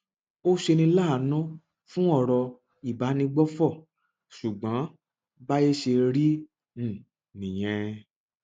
ó ṣeni láàánú fún ọrọ ìbánigbófò ṣùgbọn báyé ṣe rí um nìyẹn